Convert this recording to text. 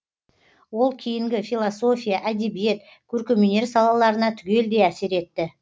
ол кейінгі философия әдебиет көркемөнер салаларына түгелдей әсер етті